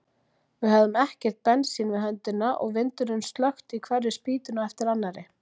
Við höfðum ekkert bensín við höndina og vindurinn slökkti í hverri spýtunni á eftir annarri.